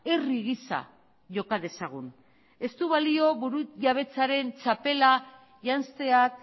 herri gisa joka dezagun ez du balio burujabetzaren txapela janzteak